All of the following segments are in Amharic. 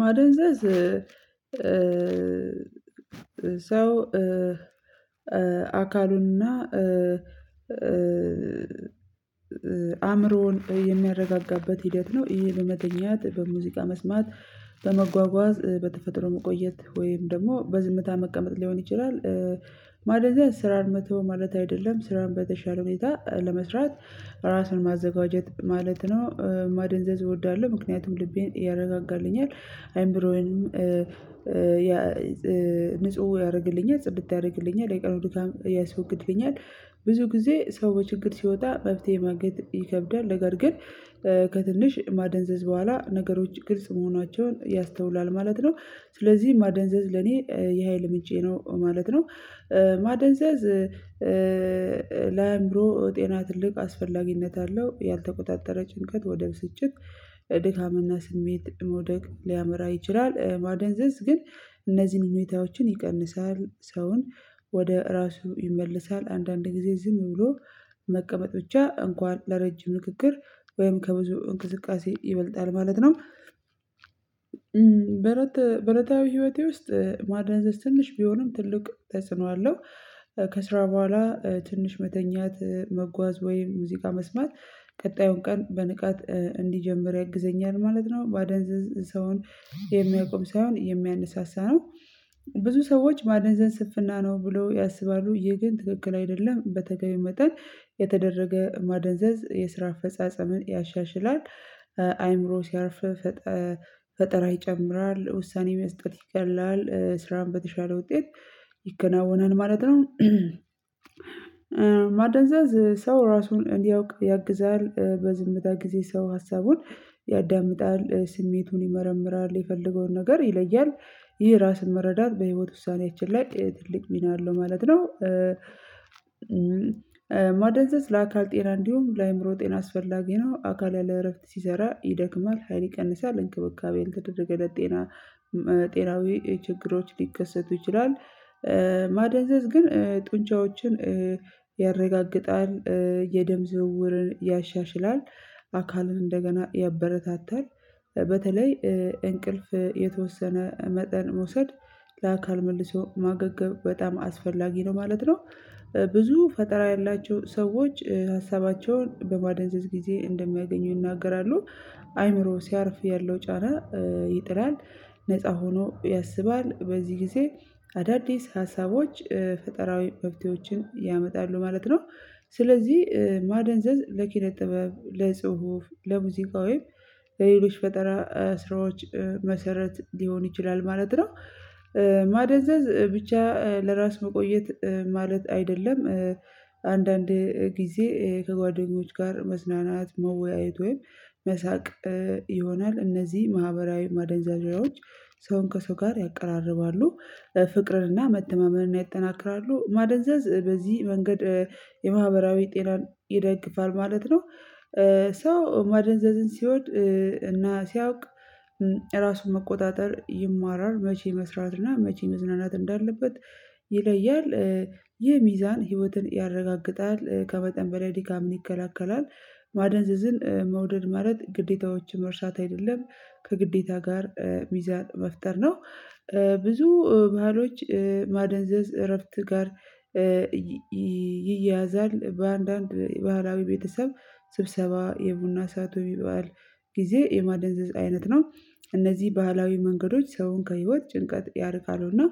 ማደንዘዝ ሰው አካሉንና አእምሮውን የሚያረጋጋበት ሂደት ነው ይሄ በመገኘት በሙዚቃ መስማት በመጓጓዝ በተፈጥሮ መቆየት ወይም ደግሞ በዝምታ መቀመጥ ሊሆን ይችላል ማለት ነው። ስራን መተው ማለት አይደለም ስራን በተሻለ ሌላ ለመስራት ራስን ማዘጋጀት ማለት ነው። ማደንዘዝ እወዳለሁ ምክንያቱም ልቤን ያረጋጋልኛል አይምሮዬን ንጹህ ያደርግልኛል ጽድት ያደርግልኛል ለቀረውን ድካም ያስወግድብኛል። ብዙ ጊዜ ሰው በችግር ሲወጣ መብት የማግኘት ይከብዳል ነገር ግን ከትንሽ ማደንዘዝ በኋላ ነገሮች ግልጽ መሆናቸውን ያስተውላል ማለት ነው። ስለዚህ ማደንዘዝ ለኔ የሀይል ምጨ ነው ማለት ነው። ማደንዘዝ ለአእምሮ ጤና ትልቅ አስፈላጊነት አለው ያልተቆጣጠረ ጭንቀት ወደ ብስጭት ድካምና ስሜት መውደቅ ሊያመራ ይችላል። ማደንዘንስ ግን እነዚህን ሁኔታዎችን ይቀንሳል ሰውን ወደ ራሱ ይመልሳል አንዳንድ ጊዜ ዝም ብሎ መቀመጥ ብቻ እንኳን ለረጅም ንግግር ወይም ከብዙ እንቅስቃሴ ይበልጣል ማለት ነው። በረታ በእለታዊ ህይወቴ ውስጥ ማድነዘዝ ትንሽ ቢሆንም ትልቅ ተጽኖ አለው። ከስራ በኋላ ትንሽ መተኛት መጓዝ ወይም ሙዚቃ መስማት ቀጣዩን ቀን በንቃት እንዲጀምር ያግዘኛል ማለት ነው። ማደንዘዝ ሰውን የሚያቆም ሳይሆን የሚያነሳሳ ነው ብዙ ሰዎች ማደንዘን ስፍና ነው ብሎ ያስባሉ ይሄ ግን ትክክል አይደለም በተገቢው መጠን የተደረገ ማደንዘዝ የስራ አፈጻጸምን ያሻሽላል። አይምሮ ሲያርፍ ፈጠራ ይጨምራል ውሳኔ መስጠት ይቀላል ስራን በተሻለ ውጤት ይከናወናል ማለት ነው። ማደንዘዝ ሰው ራሱን እንዲያውቅ ያግዛል በዝምታ ጊዜ ሰው ሀሳቡን ያዳምጣል ስሜቱን ይመረምራል የፈለገውን ነገር ይለያል ይህ ራስን መረዳት በህይወት ውሳኔያችን ላይ ትልቅ ሚና አለው ማለት ነው። ማደንዘዝ ለአካል ጤና እንዲሁም ለአእምሮ ጤና አስፈላጊ ነው አካል ያለ እረፍት ሲሰራ ይደክማል ሀይል ይቀንሳል እንክብካቤን ተደርገለት ጤና ጤናዊ ችግሮች ሊከሰቱ ይችላል። ማደንዘዝ ግን ጡንቻዎችን ያረጋግጣል የደም ዝውውርን ያሻሽላል አካልን እንደገና ያበረታታል በተለይ እንቅልፍ የተወሰነ መጠን መውሰድ ለአካል መልሶ ማገገም በጣም አስፈላጊ ነው ማለት ነው። ብዙ ፈጠራ ያላቸው ሰዎች ሀሳባቸውን በማደንዘዝ ጊዜ እንደሚያገኙ ይናገራሉ አይምሮ ሲያርፍ ያለው ጫና ይጥላል ነፃ ሆኖ ያስባል በዚህ ጊዜ አዳዲስ ሀሳቦች ፈጠራዊ መብትዎችን ያመጣሉ ማለት ነው። ስለዚህ ማደንዘዝ ለኪነ ጥበብ ለጽሁፍ ለሙዚቃዊም ለሌሎች ፈጠራ ስራዎች መሰረት ሊሆን ይችላል ማለት ነው። ማደንዘዝ ብቻ ለራስ መቆየት ማለት አይደለም አንዳንድ ጊዜ ከጓደኞች ጋር መዝናናት መወያየት ወይም መሳቅ ይሆናል እነዚህ ማህበራዊ ማደንዛዣዎች ሰውን ከሰው ጋር ያቀራርባሉ ፍቅርና መተማመንና ያጠናክራሉ ማደንዘዝ በዚህ መንገድ የማህበራዊ ጤናን ይደግፋል ማለት ነው። ሰው ማደንዘዝን ሲሆን እና ሲያውቅ ራሱን መቆጣጠር ይማራል መቼ መስራትና መቼ መዝናናት እንዳለበት ይለያል ይህ ሚዛን ህይወትን ያረጋግጣል ከበጠን በላይ ድካምን ይከላከላል ማደንዘዝን መውደድ ማለት ግዴታዎችን መርሳት አይደለም ከግዴታ ጋር ሚዛን መፍጠር ነው። ብዙ ባህሎች ማደንዘዝ እረፍት ጋር ይያያዛል በአንዳንድ የባህላዊ ቤተሰብ ስብሰባ የቡና ሰዓቱ ይባላል ጊዜ የማደንዘዝ አይነት ነው እነዚህ ባህላዊ መንገዶች ሰውን ከህይወት ጭንቀት ያርቃሉ እና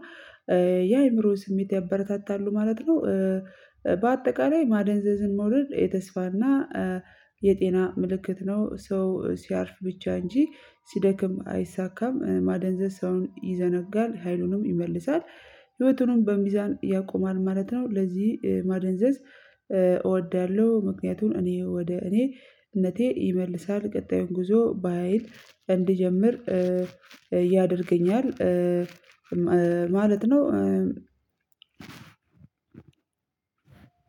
የአእምሮ ስሜት ያበረታታሉ ማለት ነው። በአጠቃላይ ማደንዘዝን መውደድ የተስፋና የጤና ምልክት ነው ሰው ሲያርፍ ብቻ እንጂ ሲደክም አይሳካም ማደንዘዝ ሰውን ይዘነጋል ሀይሉንም ይመልሳል ህይወቱንም በሚዛን ያቆማል ማለት ነው። ለዚህ ማደንዘዝ እወዳለሁ ምክንያቱን እኔ ወደ እኔ እነቴ ይመልሳል ቀጣዩን ጉዞ በሃይል እንድጀምር ያደርገኛል ማለት ነው።